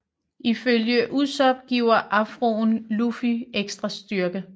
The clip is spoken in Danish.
Ifølge Usopp giver afroen Luffy ekstra styrke